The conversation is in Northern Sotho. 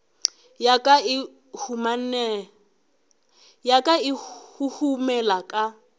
ya ka e huhumela ka